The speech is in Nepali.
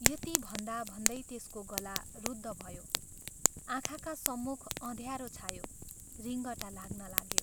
" यति भन्दा भन्दै त्यसको गला रुद्ध भयो, आँखाका सम्मुख अँध्यारो छायो, रिङटा लाग्न लाग्यो।